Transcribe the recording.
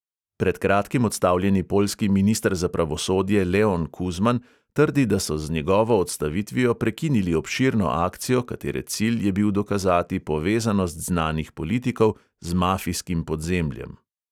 Pred kratkim odstavljeni poljski minister za pravosodje leon kuzman trdi, da so z njegovo odstavitvijo prekinili obširno akcijo, katere cilj je bil dokazati povezanost znanih politikov z mafijskim podzemljem.